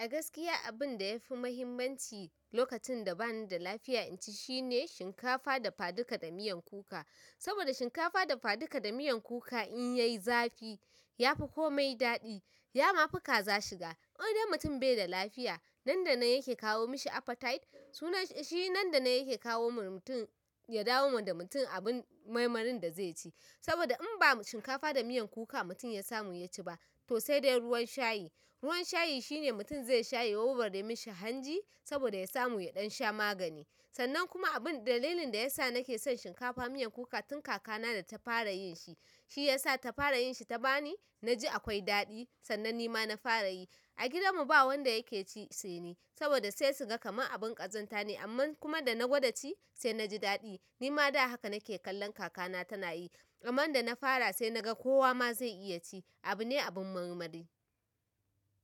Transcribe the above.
Agaskiya abinda yafi mahimmanci lokacin da bani da lafiya in shine shinka tafadika da miyan kuka saboda shinkafa dafaduka da miyan kuka in yayi zafi yafi komai daɗi. Ya ma fi kaza shiga. Wani dai mutum bai da lafiya, nan da nan yake kawo mishi appetite. Suna shi nan da nan yake kawo wa mutum ya dawo ma da mutum abun maimarin da zai ci. Saboda in ba shinkafa da miyan kuka mutum ya samu yaci ba, to sai dai ruwan shayi. Ruwan shayi shine mutum zai shayi ya warware mishi hanji, saboda ya samu ya ɗan sha magani. Sannan kuma abin dalilin da yasa nake son shinkafa miyan kuka tun kaka na da ta fara yin shi, shi ya sa ta fara yin shi ta bani, na ji akwai daɗi sannan ni ma na fara yi. A gidan mu ba wanda yake ci sai ni. Saboda sai su ga kamar abin ƙazanta ne amma kuma da na gwada ci sai na ji daɗi. Nima da haka nake ganin kaka ta takeyi, amma da na fara sai naga kowa zai iya ci abu ne abin marmari.